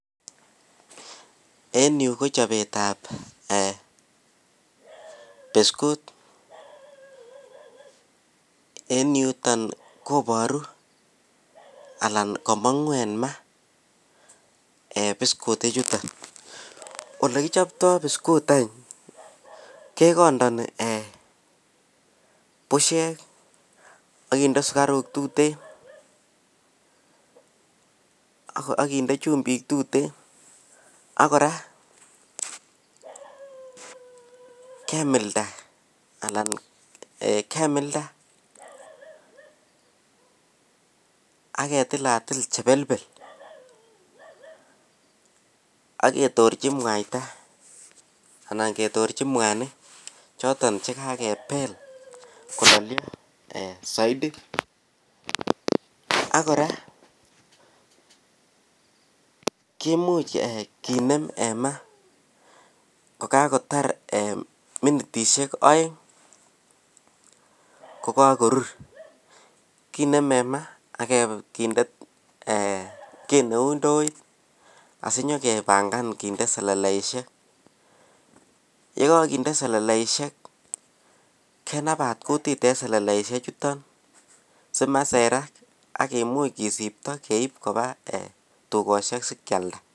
en yuu kochobetab eeh biscut, en yuton koboru alan komongu en maa bicut ichuton, elekichoptoo bicut any kegondoni busheek ak kinde sugaruk tuten ak kinde chumbik tuten, ak kora kemilda alan kemilda ak ketilatil chebelbel ak ketorchi mwaita anan ketorechi mwanik choton chegagebeel kololyo soidi ak kora, kimuuch kineem en maa kogagotar minitishek oeng kogagorur kinem en maa ak kinde kii neuu ndoit sinyegebangan kinde seleleishek, yegokinde selelesihek kenabaat kutit en seleleishek chuton simaserak ak kimuch kisibto keib koba tugoshek sikyalda.